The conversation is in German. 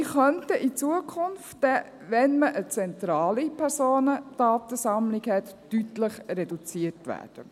Sie könnten in Zukunft, wenn man eine zentrale Personendatensammlung hat, deutlich reduziert werden.